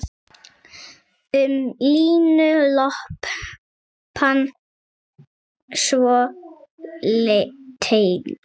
Um línuna lopann svo teygir.